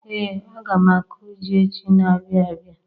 Ee, aga m akụ ji echi n'abia abịa